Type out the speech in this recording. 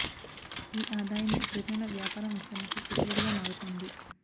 ఈ ఆదాయమే ప్రతి నెల వ్యాపారం విస్త రణకు పెట్టుబడిగా మారు తోంది